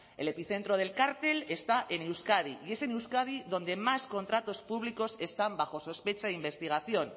el epicentro del cartel está en euskadi y es en euskadi donde más contratos públicos están bajo sospecha e investigación